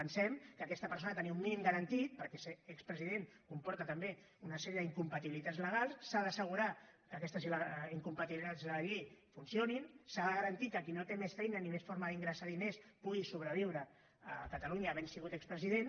pensem que aquesta persona ha de tenir un mínim garantit perquè ser expresident comporta també una sèrie d’incompatibilitats legals s’ha d’assegurar que aquestes incompatibilitats de la llei funcionin s’ha de garantir que qui no té més feina ni més forma d’ingressar diners pugui sobreviure a catalunya havent sigut expresident